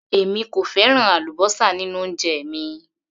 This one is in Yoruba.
Èmi kò fẹ́ràn àlúbósà nínú oúnjẹ mi